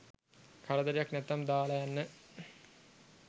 කරදරයක් නැත්නම් දාල යන්න